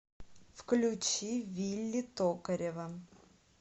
включи вилли токарева